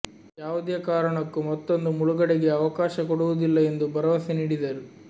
ಯಾವುದೇ ಕಾರಣಕ್ಕೂ ಮತ್ತೊಂದು ಮುಳುಗಡೆಗೆ ಅವಕಾಶ ಕೊಡುವುದಿಲ್ಲ ಎಂದು ಭರವಸೆ ನೀಡಿದರು